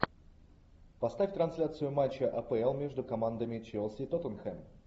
поставь трансляцию матча апл между командами челси тоттенхэм